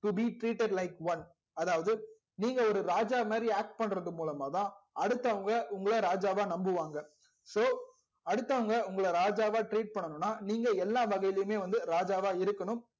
to be treated like one அதாவது நீங்க ஒரு ராஜா மாதிரி act பண்றது மூலமாதா அடுத்தவங்க உங்கள ராஜா வா நம்புவாங்க so அடுத்தவங்க உங்கள ராஜாவா treat பண்ணனும்னா நீங்க எல்லா வகையுலையுமே வந்து ராஜாவா இருக்கணும்